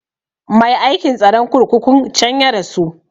Mai aikin tsaron kurkukun can ya rasu